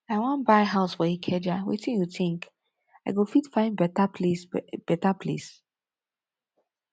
i wan buy house for ikeja wetin you think i go fit find beta place beta place